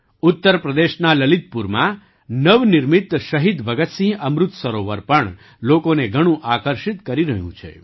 ઉત્તર પ્રદેશના લલિતપુરમાં નવનિર્મિત શહીદ ભગતસિંહ અમૃત સરોવર પણ લોકોને ઘણું આકર્ષિત કરી રહ્યું છે